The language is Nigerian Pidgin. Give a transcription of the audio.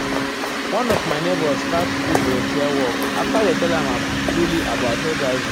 one of my neighbors start do volunteer work after dey tell am truly about hiv.